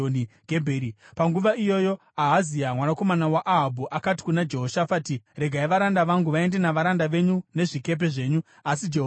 Panguva iyoyo Ahazia mwanakomana waAhabhu akati kuna Jehoshafati, “Regai varanda vangu vaende navaranda venyu nezvikepe zvenyu.” Asi Jehoshafati akaramba.